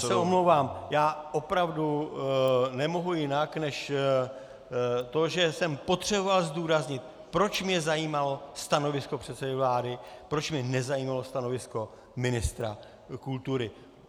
Já se omlouvám, já opravdu nemohu jinak, než to, že jsem potřeboval zdůraznit, proč mě zajímalo stanovisko předsedy vlády, proč mě nezajímalo stanovisko ministra kultury.